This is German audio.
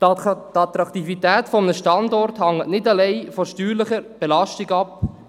Die Attraktivität eines Standorts hängt nicht alleine von der steuerlichen Belastung ab.